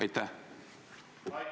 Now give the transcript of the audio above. Aitäh!